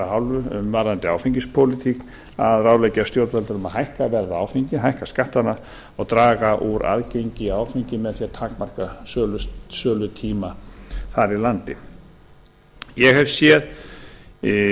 hálfu varðandi áfengispólitík að ráðleggja stjórnvöldum að hækka verð á áfengi hækka skattana og draga úr aðgengi að áfengi með því að takmarka sölutíma þar í landi ég hef séð